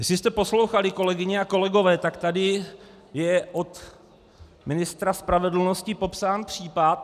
Jestli jste poslouchali, kolegyně a kolegové, tak tady je od ministra spravedlnosti popsán případ.